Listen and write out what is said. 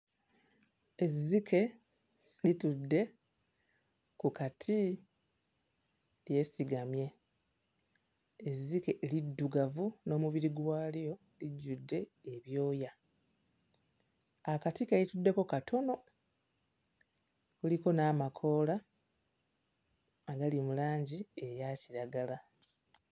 Ezzike litudde ku kati lyesigamye. Ezzike liddugavu n'omubiri gwalyo lijjudde ebyoya. Akati ke lituddeko katono kuliko n'amakoola agali mu langi eya kiragala.